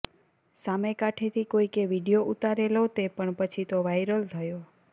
સામે કાંઠેથી કોઈકે વીડિયો ઉતારેલો તે પણ પછી તો વાઇરલ થયો